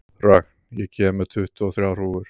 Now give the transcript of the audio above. Rögn, ég kom með tuttugu og þrjár húfur!